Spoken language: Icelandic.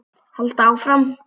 Halda áfram.